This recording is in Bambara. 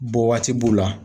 Bɔ waati b'u la.